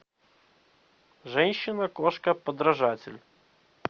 женщина кошка подражатель